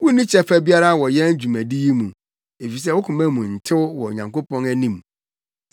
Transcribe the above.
Wunni kyɛfa biara wɔ yɛn dwumadi yi mu, efisɛ wo koma mu ntew wɔ Onyankopɔn anim.